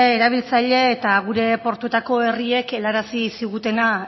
erabiltzailek eta gure portuetako herriek helarazi zigutena